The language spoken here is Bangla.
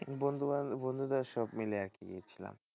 বন্ধু বান্ধব বন্ধুদের সব মিলে আরকি গেছিলাম।